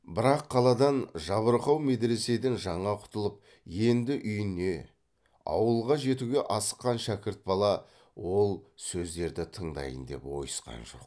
бірақ қаладан жабырқау медреседен жаңа құтылып енді үйіне ауылға жетуге асыққан шәкірт бала ол сөздерді тыңдайын деп ойысқан жоқ